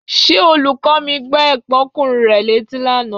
Ṣé olùkọ́ mi gbá ẹ̀gbọ́nkùnrin rẹ létí lánàá?